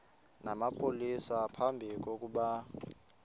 namapolisa phambi kokuba